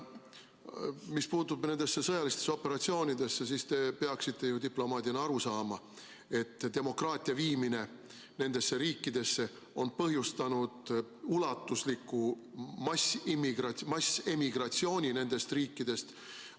Mis puutub nendesse sõjalistesse operatsioonidesse, siis te peaksite ju diplomaadina aru saama, et demokraatia viimine nendesse riikidesse on põhjustanud ulatusliku massemigratsiooni nendest riikidest.